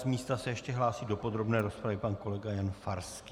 Z místa se ještě hlásí do podrobné rozpravy pan kolega Jan Farský.